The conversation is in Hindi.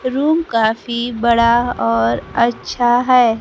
रूम काफी बड़ा और अच्छा है।